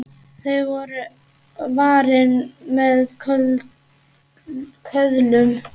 Þau voru varin með köðlum.